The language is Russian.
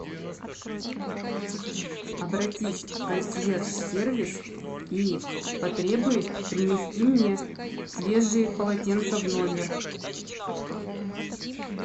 обратись в консьерж сервис и потребуй принести мне свежие полотенца в номер